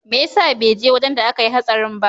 Meyasa beje wajan da akayi hatsarin ba?